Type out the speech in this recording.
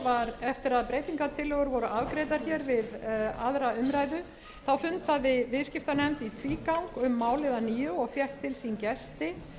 breytingartillögur voru afgreiddar hér við aðra umræðu fundaði viðskiptanefnd í tvígang um málið að nýju og fékk til sín gesti